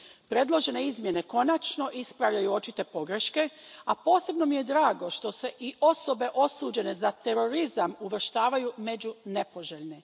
Predložene izmjene konačno ispravljaju očite pogreške, a posebno mi je drago što se i osobe osuđene za terorizam uvrštavaju među nepoželjne.